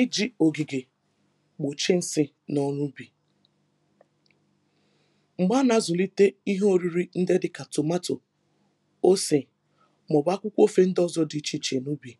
iji̇ ògìgè gbòchie nsị̀ n’ọrụ̇ ubì, m̀gbè a nà-azụ̀lite ihe oriri ndị dịkà tomato osè màọ̀bụ̀ akwụkwọ ofe ndị ọ̇zọ̇ dị ichè ichè n’ubì